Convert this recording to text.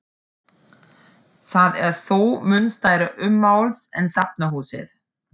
Það er þó mun stærra ummáls en safnahúsið.